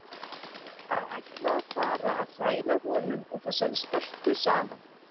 Að ætla að fara að hræra honum og þessari stelpu saman!